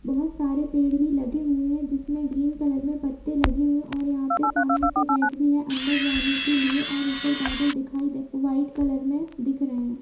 बहुत सारे पेड़ भी लगे हुये है जिसमे ग्रीन कलर में पत्ते लगे हुये है और यहाँ पे सामने से गेट भी है और अंदर जाने के लिए और ऊपर बादल दिखाई दे व्हाइट कलर में दिख रहे है।